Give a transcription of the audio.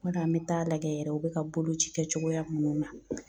Ma dɔ an bɛ taa lagɛ yɛrɛ u bɛ ka boloci kɛ cogoya minnu na